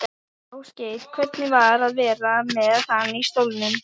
Ásgeir: Hvernig var að vera með hann í stólnum?